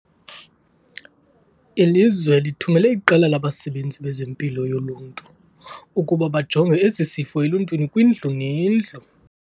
Ilizwe lithumele iqela labasebenzi bezeMpilo yoLuntu ukuba bajonge esi sifo eluntwini kwindlu nendlu.